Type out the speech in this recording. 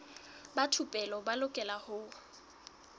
ba thupelo ba lokela ho